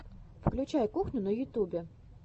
включай кухню на ютубе